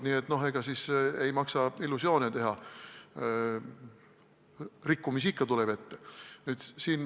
Nii et ei maksa illusioone teha, rikkumisi tuleb ikka ette.